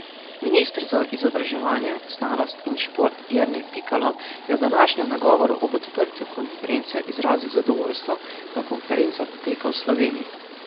Minister za izobraževanje, znanost in šport Jernej Pikalo je v današnjem nagovoru ob odprtju konference izrazil zadovoljstvo, da konferenca poteka v Sloveniji.